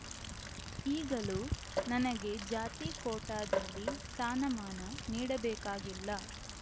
ಈಗಲೂ ನನಗೆ ಜಾತಿ ಕೋಟಾದಲ್ಲಿ ಸ್ಥಾನಮಾನ ನೀಡಬೇಕಾಗಿಲ್ಲ